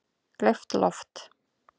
Gleypt loft